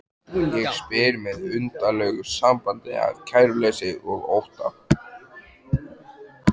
Og spyr með undarlegu samblandi af kæruleysi og ótta